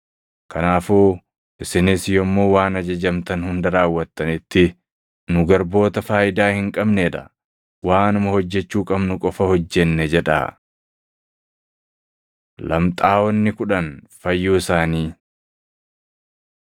Kanaafuu isinis yommuu waan ajajamtan hunda raawwattanitti, ‘Nu garboota faayidaa hin qabnee dha; waanuma hojjechuu qabnu qofa hojjenne’ jedhaa.” Lamxaaʼonni Kudhan Fayyuu Isaanii